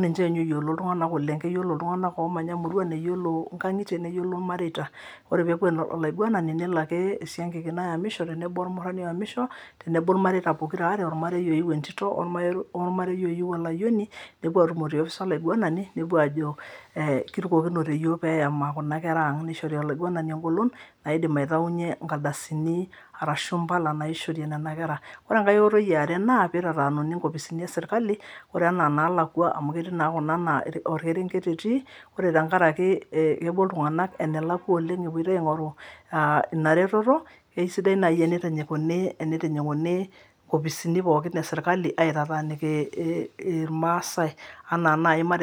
ninche ninye ooyiolo iltuganak oleng keyioloi iltunganak oomanya imurwan eyiolo inkangitie neyiolo ilmareita ore pee eeku enolaiguanani nelo ake esiankiki nayami tenebo olmurrani oyamisho tenebo ilmareita pokiraare olmarei oiu entinto olmarei oyiu olayioni nepuo aatumo te nkopis olaiguanani nepuo ajo eeh kirukokinote iyiok pee eyama Kuna kera ang nishori olaiguanani engolon naidim ataunyie inkardasini arashu Impala naaishori Nena kera. Ore enkae oitoi e are naa pee itaatanuni inkopisini e serikali ore anaa inaalakwa amu ketii naa Kuna naa olkerenget etii ore tenkaraki epuo iltunganak enelakwa oleng epoito aingoru Ina reteto aisidai naaji teneitinyikuni inkopisini pooki e serikali aitataaniki ilmaasae.